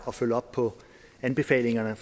at følge op på anbefalingerne